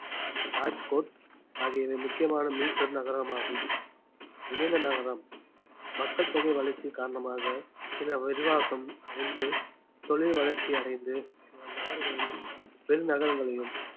ராஜ்கோட் ஆகியவை முக்கியமான மீப்பெரு நகரமாகும் இணைந்த நகரம் மக்கள் தொகை வளர்ச்சி காரணமாக சில விரிவாக்கம் அடைந்து தொழில் வளர்ச்சி அடைந்து சில நகர்களையும் பெரு நகரங்களையும்